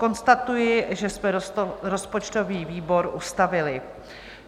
Konstatuji, že jsme rozpočtový výbor ustavili.